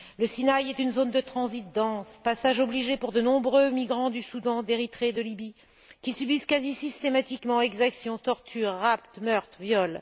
Le Sinaï est une zone de transit dense, passage obligé pour de nombreux migrants du Soudan, d'Érythrée et de Libye, qui subissent quasi systématiquement exactions, tortures, rapts, meurtres et viols.